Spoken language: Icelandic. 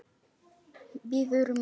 Bíður mín.